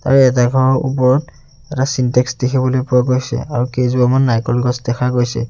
আৰু এডাখৰ ওপৰত এটা ছিনটেক্স দেখিবলৈ পোৱা গৈছে আৰু কেইজোপামান নাৰিকল গছ দেখা গৈছে।